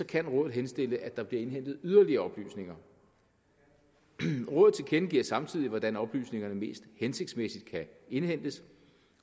kan rådet henstille at der bliver indhentet yderligere oplysninger rådet tilkendegiver samtidig hvordan oplysningerne mest hensigtsmæssigt kan indhentes